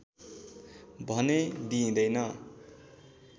भने दिइँदैन